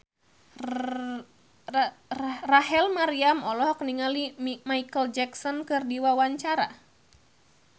Rachel Maryam olohok ningali Micheal Jackson keur diwawancara